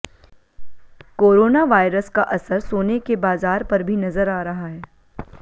corona virus का असर सोने के बाजार पर भी नजर आ रहा है